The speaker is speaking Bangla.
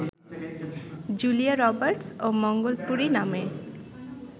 জুলিয়া রবার্টস ও মঙ্গলপুরি নামে